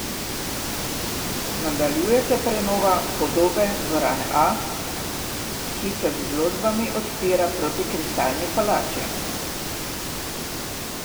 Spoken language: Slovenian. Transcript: Nadaljuje se prenova podobe Dvorane A, ki se z izložbami odpira proti Kristalni palači.